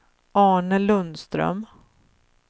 Arne Lundström